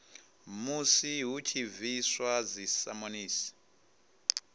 musi hu tshi bviswa dzisamonisi